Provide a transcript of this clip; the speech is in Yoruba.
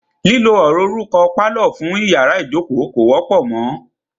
Lílo ọ̀rọ̀ orúkọ "pálọ̀" fún iyàrá ìjókó kò wọ́pọ̀ mọ.